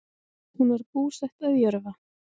Hún var búsett að Jörfa